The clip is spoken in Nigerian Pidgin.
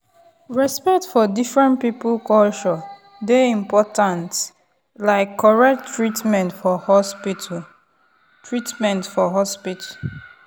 to talk true when everybody dey respect everybody faith and medicine go fit work well together.